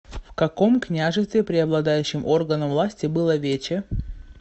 в каком княжестве преобладающим органом власти было вече